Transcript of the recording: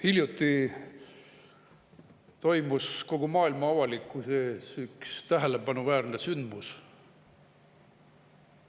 Hiljuti toimus kogu maailma avalikkuse ees üks tähelepanuväärne sündmus.